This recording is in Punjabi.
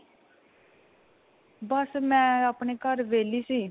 ਬੱਸ ਮੈਂ ਆਪਣੇ ਘਰ ਵਿਹਲੀ ਸੀ.